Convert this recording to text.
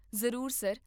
ਜ਼ਰੂਰ ਸਰ,